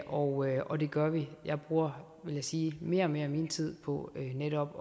og og det gør vi jeg bruger vil jeg sige mere og mere af min tid på netop